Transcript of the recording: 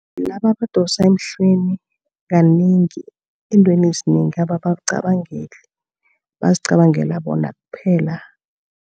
Laba abadosa emhlweni, kanengi eentweni ezinengi ababacabangeli, bazicabangela bona kuphela.